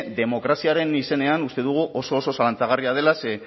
demokraziaren izenean uste dugu oso oso zalantzagarria dela ze